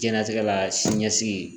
Diɲɛnatigɛ la sini ɲɛsigi